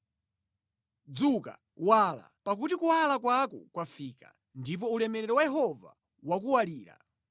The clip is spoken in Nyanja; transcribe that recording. “Dzuka, wala, pakuti kuwala kwako kwafika, ndipo ulemerero wa Yehova wakuwalira.